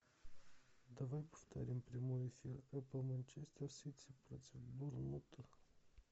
давай повторим прямой эфир эпл манчестер сити против борнмута